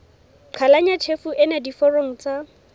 qhalanya tjhefo ena diforong tsa